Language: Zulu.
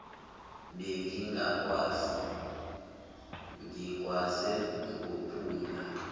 bengingakwazi ngikwaze ngophumla